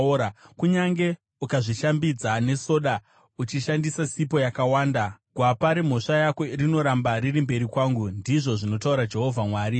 Kunyange ukazvishambidza nesoda uchishandisa sipo yakawanda, gwapa remhosva yako rinoramba riri mberi kwangu,” ndizvo zvinotaura Ishe Jehovha.